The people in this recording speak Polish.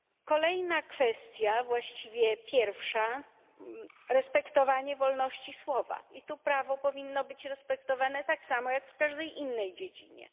Kolejna kwestia, właściwie pierwsza, respektowanie wolności słowa i tu prawo powinno być respektowane tak samo, jak w każdej innej dziedzinie.